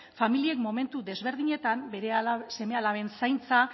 familiek momentu desberdinetan bere seme alaben zaintza